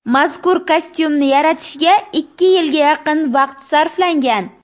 Mazkur kostyumni yaratishga ikki yilga yaqin vaqt sarflangan.